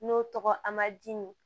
N'o tɔgɔ amadu